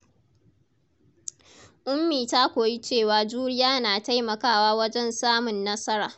Ummi ta koyi cewa juriya na taimakawa wajen samun nasara.